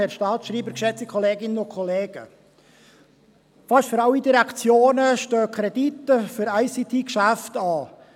Für fast alle Direktionen stehen Kredite für ICT-Geschäfte an.